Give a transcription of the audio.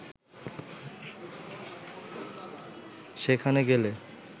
সেখানে গেলে